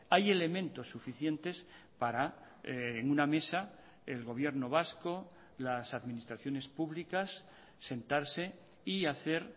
hay elementos suficientes para en una mesa el gobierno vasco las administraciones públicas sentarse y hacer